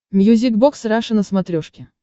мьюзик бокс раша на смотрешке